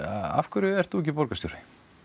afhverju ert þú ekki borgarstjóri